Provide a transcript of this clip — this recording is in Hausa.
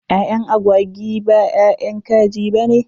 Ƴaƴan agwagi b ƴaƴan kaji bane.